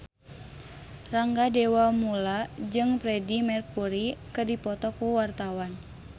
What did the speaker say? Rangga Dewamoela jeung Freedie Mercury keur dipoto ku wartawan